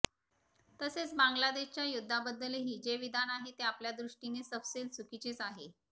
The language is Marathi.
तसेच बांगलादेशच्या युद्धाबद्दलही जे विधान आहे ते आपल्या दृष्टीने सपशेल चुकीचेच आहे